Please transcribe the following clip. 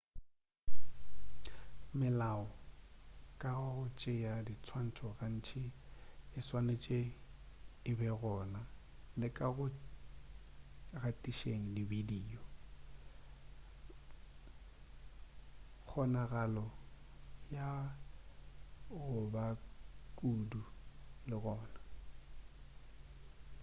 melao ka ga go tšea dinswantšho gantši e swanetše e begona le ka go gatišeng dibidio kgonagalo ya go ba kudu le gona